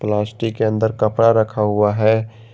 Plastic के अंदर कपड़ा रखा हुआ है।